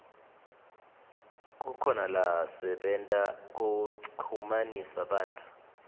kukhona lasebenta kuchumanisa bantfu